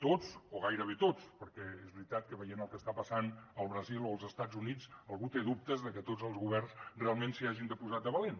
tots o gairebé tots perquè és veritat que veient el que està passant al brasil o als estats units algú té dubtes de que tots els governs realment s’hi hagin posat de valent